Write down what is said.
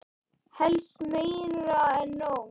Helst meira en nóg.